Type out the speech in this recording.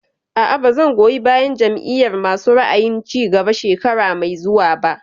A'a, ba zan goyi bayan Jam'iyar masu ra'ayin cigaba shekara mai zuwa ba